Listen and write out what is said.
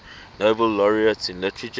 nobel laureates in literature